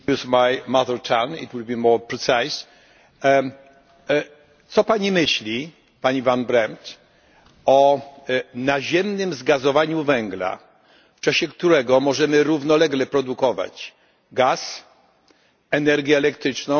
Co Pani myśli, Pani Van Brempt, o naziemnym zgazowaniu węgla, w czasie którego możemy równolegle produkować gaz, energię elektryczną i ciepło, wykorzystując nasz węgiel, a równocześnie